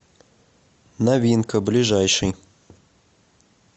новинка ближайший